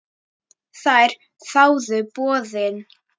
Þær þáðu boðið.